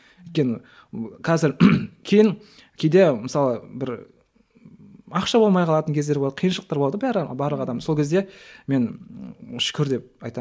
өйткені қазір кейін кейде мысалы бір ақша болмай қалатын кездер болады қиыншылықтар болады ғой бәрі барлық адам сол кезде мен шүкір деп